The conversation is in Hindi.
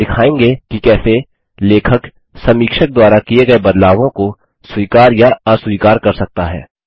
अब हम दिखायेंगे कि कैसे लेखक समीक्षक द्वारा किये गये बदलावों को स्वीकार या अस्वीकार कर सकता है